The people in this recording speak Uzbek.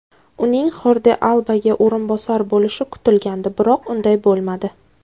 Uning Xordi Albaga o‘rinbosar bo‘lishi kutilgandi, biroq unday bo‘lmadi.